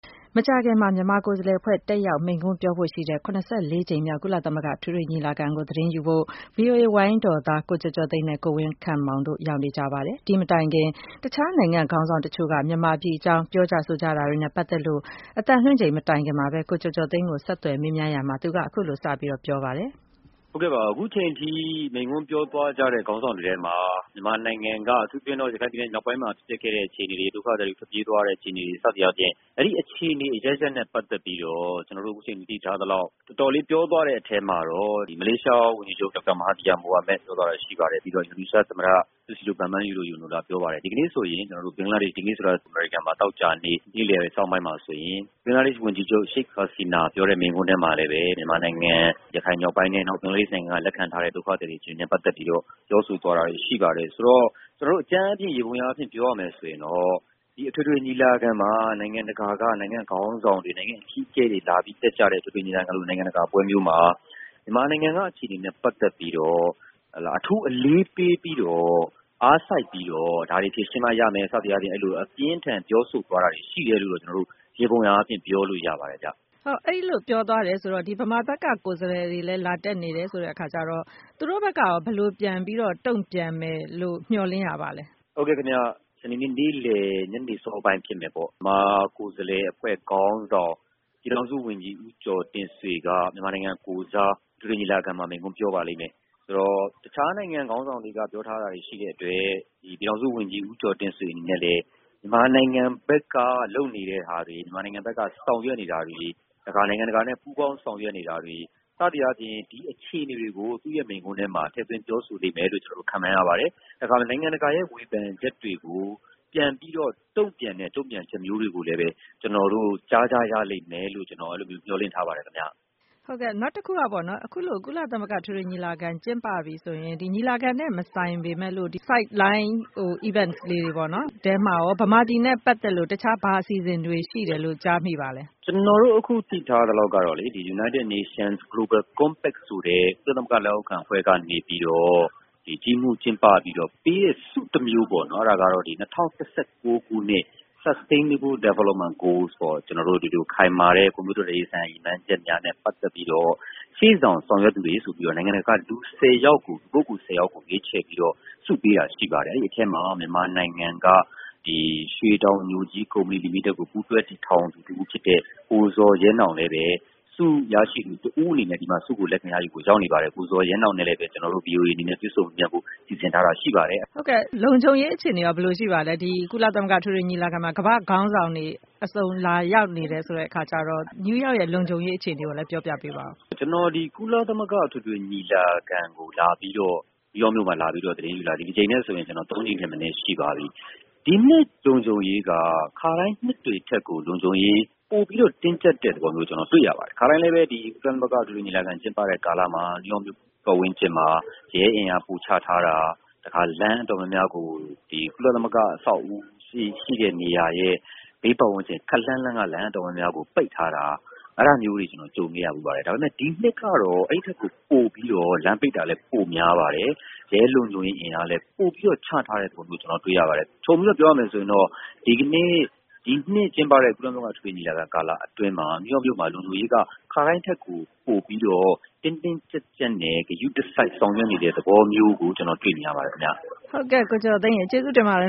မကြာခင်မှာ မြန်မာကိုယ်စားလှယ်အဖွဲ့ တက်ရောက်မိန့်ခွန်းပြောဖို့ရှိတဲ့ ၇၄ ကြိမ်မြောက် ကုလ သမဂ္ဂအထွေထွေညီလာခံမှာ သတင်းယူဖို့ VOA ဝိုင်းတော်သား ကိုကျော်ကျော်သိန်းနဲ့ ကိုဝင်းခန့်မောင်တို့ ရောက်နေကြပါတယ်။ ဒီမတိုင်ခင် တခြားနိုင်ငံတချို့က ခေါင်းဆောင်တွေ မြန်မာပြည်အကြောင်းပြောကြားမှုတွေနဲ့ ပတ်သက်လို့ ကိုကျော်ကျော်သိန်းကို မခွာညိုက ဆက်သွယ်မေးမြန်းစဉ် သူက အခုလို စပြောခဲ့ပါတယ်။ ဟုတ်ကဲ့ပါ အခုအချိန်အထိ မိန့်ခွန်းပြောသွားကြတဲ့ ခေါင်းဆောင်တွေထဲမှာ မြန်မာပြည်က ရခိုင်မြောက်ပိုင်းမှာ ဖြစ်ခဲ့တဲ့အခြေအနေတွေ ဒုက္ခသည်တွေ ထွက်ပြေးသွားတဲ့ အခြေအနေတွေ စသည်အားဖြင့် အဲဒီအခြေအနေ အရပ်ရပ်နဲ့ ပတ်သက်ပြီး ကျနော်တို့ သတိထားမိသလောက် တော်တော်လေးပြောသွားတဲ့အထဲမှာ မလေးရှားဝန်ကြီးချုပ် မဟာသီယာ မိုဟာမက် ပြောသွားတာ ရှိပါတယ်။ အမေရိကန်စံတော်ချိန် သောကြာနေ့နှောင်းပိုင်းမှာဆိုရင် ဘင်္ဂလားဒေ့ရှ် ဝန်ကြီးချုပ် Sheikh Hasina ပြောသွားတဲ့ မိန့်ခွန်းမှာလည်း ရခိုင်ပြည်နယ်မြောက်ပိုင်းက ဘင်္ဂလားဒေ့ရှ် ဘက်မှာ လက်ခံထားတဲ့ ဒုက္ခသည်တွေနဲ့ ပတ်သက်ပြီးတော့ ပြောဆိုသွားတာတွေရှိပါတယ်။ ဆိုတော့ ကျနော်တို့ ယေဘုယျအားဖြင့် ပြောရမယ်ဆိုရင် ဒီအထွေထွေညီလာခံမှာ နိုင်ငံတကာက ခေါင်းဆောင်တွေ၊ နိုင်ငံ့အကြီးအကဲတွေ တက်ကြတဲ့ အထွေထွေညီလာခံ နိုင်ငံတကာ ပွဲမျိုးမှာ မြန်မာနိုင်ငံအခြေအနေနဲ့ ပတ်သက်ပြီးတော့ အထူးအလေးပေး ပြီးတော့ အားစိုက်ပြီးတော့ ဒါတွေဖြေရှင်းမှ ရမယ် စသည်အားဖြင့် အပြင်းအထန်ပြောဆိုသွားတာရှိတယ်လို့ ယေဘုယျအားဖြင့် ပြောလို့ရပါတယ်။ အဲဒီလိုပြောသွားတယ်ဆိုတော့ မြန်မာဘက်က ကိုယ်စားလှယ်တွေလည်း လာတက်နေတယ်ဆိုတဲ့အခါကျတော့ သူတို့ဘက်က ဘယ်လိုပြန်ပြီးတော့ တုံ့ပြန်မယ်လို့ မျှော်လင့်ရပါသလဲ။ ဟုတ်ကဲ့ စနေနေ့ နေ့လည် ညနေပိုင်းလောက်ဖြစ်မယ်ပေါ့။ မြန်မာကိုယ်စားလှယ်အဖွဲ့ ခေါင်းဆောင် ပြည်ထောင်စုဝန်ကြီး ဦးကျော်တင့်ဆွေက မြန်မာနိုင်ငံ ကိုယ်စား အထွေထွေညီလာခံမှာ မိန့်ခွန်းပြောပါလိမ့်မယ်။ ဆိုတော့ တခြားနိုင်ငံက ခေါင်းဆောင်တွေ ပြောထားတာ ရှိတဲ့အတွက် ပြည်ထောင်စုဝန်ကြီး ဦးကျော်တင့်ဆွေအနေနဲ့လည်း မြန်မာနိုင်ငံဘက်က လုပ်နေတာတွေ၊ ဆောင်ရွက်နေတာတွေ ၊တခါ နိုင်ငံတကာနဲ့ ပူးပေါင်း ဆောင်ရွက်နေတာတွေ စသည်အားဖြင့် ဒီအခြေအနေတွေကို သူ့ရဲ့ မိန့်ခွန်းထဲမှာ ထည့်သွင်းပြောဆိုလိမ့်မယ်လို့ ကျနော်ခန့်မှန်းရပါတယ်။ တခါ နိုင်ငံတကာရဲ့ ဝေဖန်ချက်တွေကို ပြန်ပြီးတော့ တုံ့ပြန်တဲ့ တုံ့ပြန်ချက်တွေကိုလည်း ကျနော်တို့ ကြားရမယ်လို့ မျှော်လင့်ထားပါတယ်။ အခုလို ကုလသမဂ္ဂအထွေထွေညီလာခံ ကျင်းပပြီဆိုရင် ညီလာခံနဲ့ မဆိုင်ပေမယ့် sideline events လေးတွေပေါ့နော် အဲဒီထဲမှာရော မြန်မာပြည်နဲ့ ပတ်သက်လို့ ဘာအစီအစဉ်တွေ ရှိတယ်လို့ ကြားမိပါသလဲ။ ကျနော်တို့ အခု သိထားသလောက်ကလေ United Nations Global Compact ဆိုတဲ့ ကုလ သမဂ္ဂလက်အောက်ခံအဖွဲ့ကနေပြီးတော့ ဒီကြီးမှုးကျင်းပပြီးတော့ ပေးတဲ့ ဆုတမျိုးပေါ့နော် အဲဒါကတော့ ၂၀၁၉ ခုနှစ် sustainable development goals ခိုင်မာတဲ့ ဖွံ့ဖြိုးတိုးတက်ရေးဆိုင်ရာ ရည်မှန်းချက်တွေနဲ့ ပတ်သက်ပြီးတော့ ရှေ့ဆောင် ဆောင်ရွက်သူတွေဆိုပြီးတော့ နိုင်ငံတကာက ပုဂ္ဂိုလ် ၁၀ ယောက်ကို ရွေးချယ်ပြီးတော့ ဆုပေးတာ ရှိပါတယ်။ အဲဒီအထဲမှာ မြန်မာနိုင်ငံ ကရွှေတောင်ညိုကြီး ကုမ္ပဏီလီမစ်တက် ကို ပူးတွဲတည်ထောင်သူ ကိုဇော်ရဲနောင်လည်း ဆုရရှိသူ တဦးအနေနဲ့ ဆုလက်ခံဖို့ ရောက်နေပါတယ်။ ကိုဇော်ရဲနောင်ကိုလည်း ကျနော်တို့ VOA အနေနဲ့ တွေ့ဆုံမေးမြန်းဖို့ စီစဉ်ထားတာရှိပါတယ်။ လုံခြုံရေးအခြေအနေရောဘယ်လိုရှိပါသလဲ ကုလသမဂ္ဂအထွေထွေညီလာခံမှာ ကမ္ဘာ့ခေါင်းဆောင်တွေ အစုံလာရောက်နေတယ်ဆိုတဲ့အခါကျတော့ နယူးရောက်ရဲ့ လုံခြုံရေး အခြေအနေကိုလည်း ပြောပြပါဦး။ ကျနော် ကုလသမဂ္ဂအထွေထွေညီလာခံ ကျင်းပတဲ့ New York မြို့ကို လာပြီး သတင်းလာယူတာ ဒီတကြိမ်နဲ့ဆိုရင် ၃ ကြိမ်ထက်မနည်းရှိပါပြီ။ ဒီနှစ်လုံခြုံရေးက ခါတိုင်းနှစ်တွေထက် လုံခြုံရေး ပိုပြီးတော့ တင်းကျပ်တာ တွေ့ရပါတယ်။ ခါတိုင်းလည်း ကုလသမဂ္ဂအထွေထွေညီလာခံကျင်းပတဲ့ ကာလမှာ New York မြို့ဝန်းကျင်မှာ ရဲအင်အားပိုချထားတာ ၊ ကုလသမဂ္ဂ အဆောက်အဦးရဲ့ ဘေးပတ်ဝန်းကျင် ခပ်လှမ်းလှမ်းက လမ်းတော်တော်များများကို ပိတ်ထားတာ အဲဒါမျိုးတွေ ကျနော်ကြုံခဲ့ရပါတယ်။ ဒီနှစ်က အဲဒီထက်ကို ပိုပြီးတော့ လမ်းပိတ်တာလည်း ပိုများပါတယ်။ ရဲလုံခြုံရေးအင်အားလည်း ပိုပြီးတော့ ချထားတာ ကျနော်တို့ တွေ့ရပါတယ်။ ခြုံပြီးတော့ ပြောရင်တော့ ဒီနှစ်ကျင်းပတဲ့ ကုလသမဂ္ဂအထွေထွေညီလာခံ ကာလအတွင်း New York မြို့လုံခြုံရေးကို ခါတိုင်းထက်ကို ပိုပြီး တင်းတင်းကျပ်ကျပ်နဲ့ ဂရုတစိုက်ဆောင်ရွက်နေတဲ့ သဘောမျိုးလို့ ကျနော်တွေ့နေရပါတယ်။ ကိုကျော်ကျော်သိန်းရေ ကျေးဇူးတင်ပါတယ်